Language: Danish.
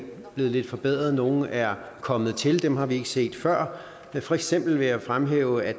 blevet lidt forbedret nogle er kommet til dem har vi ikke set før for eksempel vil jeg fremhæve at